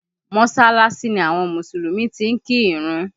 Mọsalasi ni àwọn Mùsùlùmí ti ń kí ìrun